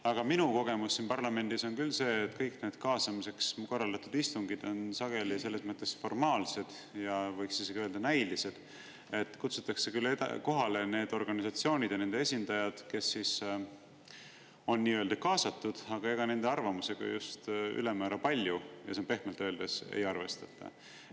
Aga minu kogemus siin parlamendis on küll see, et kõik need kaasamiseks korraldatud istungid on sageli selles mõttes formaalsed ja võiks isegi öelda, näilised, et kutsutakse kohale need organisatsioonid ja nende esindajad, kes on kaasatud, aga ega nende arvamusega just ülemäära palju, ja see on pehmelt öeldes, ei arvestata.